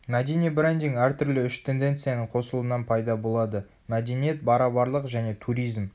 мәдени брендинг әртүрлі үш тенденцияның қосылуынан пайда болады мәдениет барабарлық және туризм